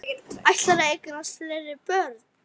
Ætlarðu að eignast fleiri börn?